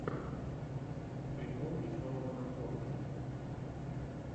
прикол веселого накорушки